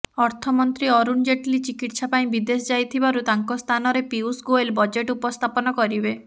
ଅର୍ଥମନ୍ତ୍ରୀ ଅରୁଣ ଜେଟଲୀ ଚିକିତ୍ସା ପାଇଁ ବିଦେଶ ଯାଇଥିବାରୁ ତାଙ୍କ ସ୍ଥାନରେ ପିୟୁଷ ଗୋଏଲ ବଜେଟ ଉପସ୍ଥାପନ କରିବେ